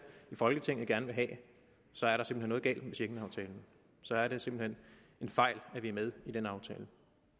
i folketinget gerne vil have så er der simpelt hen noget galt med schengenaftalen så er det simpelt hen en fejl at vi er med i den aftale